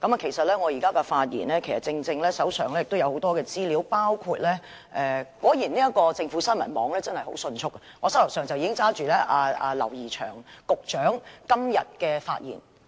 我手上也有很多資料，包括......政府新聞網果然很迅速，現時我手上已經拿着劉怡翔局長今天